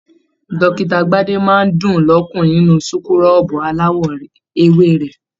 Dókítà Gbade máa n dùn l'ọkunrin nínú súkúrọbuù alawọ ewé rẹ.